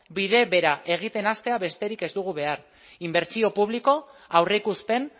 bide bera egiten hastea besterik ez dugu behar inbertsio publikoa aurreikuspen